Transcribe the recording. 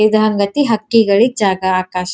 ಇದ್ ಹಂಗ್ ಅತಿ ಹಕ್ಕಿಗಳಿಗ್ ಜಾಗ ಆಕಾಶ --